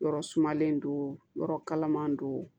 Yɔrɔ sumalen don yɔrɔ kalaman don